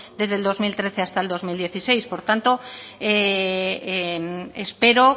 desde el dos mil trece hasta el dos mil dieciséis por tanto espero